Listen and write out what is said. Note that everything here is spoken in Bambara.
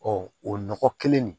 o nɔgɔ kelen nin